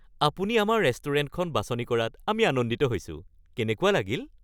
আপুনি আমাৰ ৰেষ্টুৰেণ্টখন বাছনি কৰাত আমি আনন্দিত হৈছো। কেনেকুৱা লাগিল? (ৰেষ্টুৰেণ্ট মেনেজাৰ)